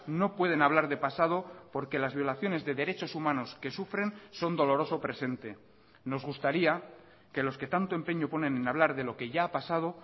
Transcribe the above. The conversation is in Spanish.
no pueden hablar de pasado porque las violaciones de derechos humanos que sufren son doloroso presente nos gustaría que los que tanto empeño ponen en hablar de lo que ya ha pasado